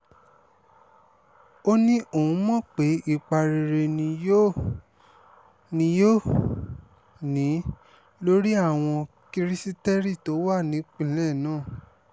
ó ní òun mọ̀ pé ipa rere ni yóò ni yóò ní lórí àwọn kirisítérì tó wà nípìnlẹ̀ náà